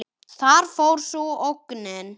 Þar fór sú ógnin.